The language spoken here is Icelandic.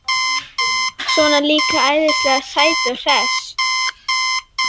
Svona líka æðislega sæt og hress.